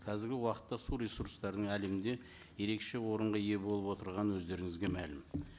қазіргі уақытта су ресурстарының әлемде ерекше орынға ие болып отырғаны өздеріңізге мәлім